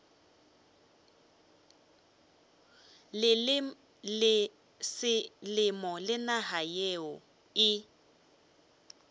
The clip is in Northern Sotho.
selemo le naga yeo e